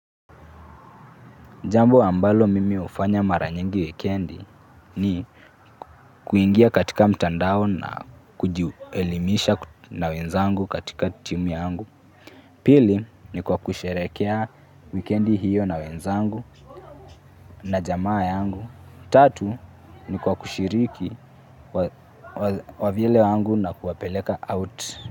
Jambo ambalo mimi hufanya mara nyingi wikendi ni kuingia katika mtandao na kujielimisha na wenzangu katika timu yangu. Pili, ni kwa kusherehekea wikendi hiyo na wenzangu, na jamaa yangu. Tatu, ni kwa kushiriki kwa wavyele wangu na kuwapeleka out.